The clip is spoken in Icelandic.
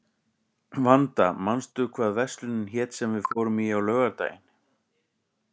Vanda, manstu hvað verslunin hét sem við fórum í á laugardaginn?